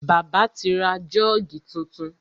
Bàbá ti ra Jọ́ọ̀gì tuntun.